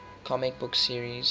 comic book series